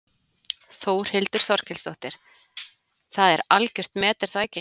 Þórhildur Þorkelsdóttir: Það er algjört met er það ekki?